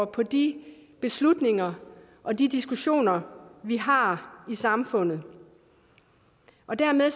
på de beslutninger og de diskussioner vi har i samfundet og dermed